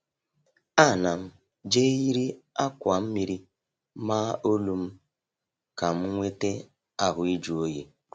Ana m jeiri akwa mmiri maa olu m ka m nwete ahụ ịjụ oyi.